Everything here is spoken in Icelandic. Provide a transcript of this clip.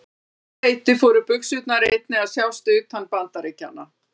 Um svipað leyti fóru buxurnar einnig að sjást utan Bandaríkjanna.